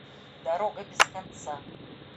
дорога без конца